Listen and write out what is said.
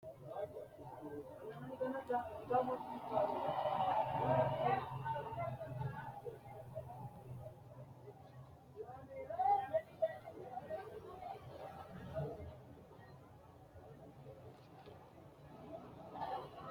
Olantote kaambe giddo Abbebe assanni keeshshino rosiisi’ran- heewora ille tugge ha’runsanni keeshshino qansichimmasi Swiidine ikkino qajeelsiisaanchi Kumu roorrichi Oni Niskaanen Abbebe dandoo huwatasinni wolootu ledo karsame qajeelanno gede assisi.